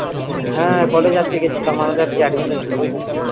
হ্যা college এ আজকে গেছিলাম আমাদের আজকে admission ছিল বুঝলি